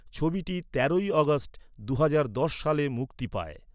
ছবিটি তেরোই আগস্ট দুহাজার দশ সালে মুক্তি পায়।